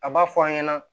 A b'a fɔ an ɲɛna